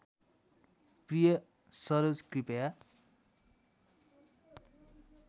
प्रिय सरोज कृपया